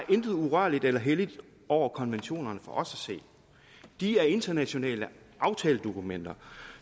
intet urørligt eller helligt over konventionerne de er internationale aftaledokumenter